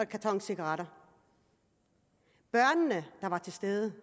karton cigaretter børnene der var til stede